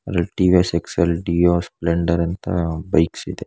ಇದರಲ್ಲಿ TVS Excel Dio Splendor ಅಂತ bikes ಇದೆ.